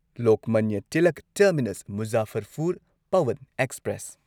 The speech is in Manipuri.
Lokmanya Tilak terminus Muzaffarpur Pawan express